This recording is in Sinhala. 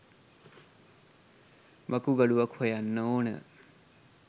වකුගඩුවක් හොයන්න ඕන.